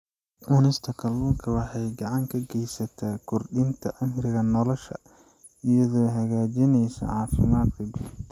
Cunista kalluunka waxay gacan ka geysataa kordhinta cimriga nolosha iyadoo hagaajinaysa caafimaadka guud.